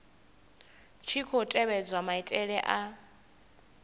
tshi khou tevhedzwa maitele a